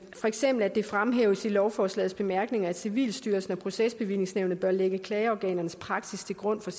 for eksempel at det fremhæves i lovforslagets bemærkninger at civilstyrelsen og procesbevillingsnævnet bør lægge klageorganernes praksis til grund for